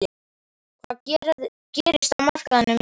Hvað gerist á markaðinum í sumar?